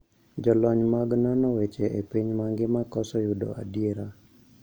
Jolony mag nono weche e piny mangima koso yudo adiera